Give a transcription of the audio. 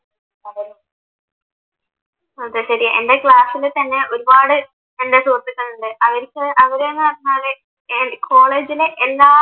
അത് ശെരി എൻ്റെ ക്ലാസ്സിൽ തന്നെ ഒരുപാട് എൻ്റെ സുഹൃത്തുക്കളുണ്ട് അവരിക്ക് അവരെന്നെ കോളേജിലെ എല്ലാ